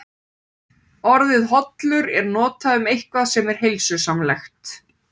Öskjur á virkum eldfjallasvæðum á Íslandi.